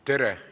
Tere!